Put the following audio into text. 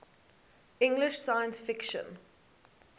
english science fiction